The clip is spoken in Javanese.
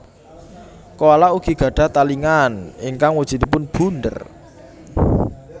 Koala ugi gadhah talingan ingkang wujudipun bunder